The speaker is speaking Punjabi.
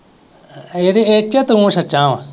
ਇਹਦੇ ਇਹ ਚ ਤੂੰ ਸੱਚਾ ਵਾਂ,